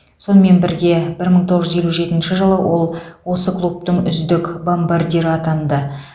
сонымен бірге бір мың тоғыз жүз елу жетінші жылы ол осы клубтың үздік бомбардирі атанды